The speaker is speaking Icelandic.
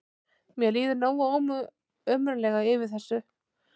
Mér líður nógu ömurlega yfir þessu þótt þú sért ekki að ota að mér bendifingrinum.